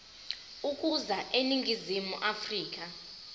ukuza eningizimu afrika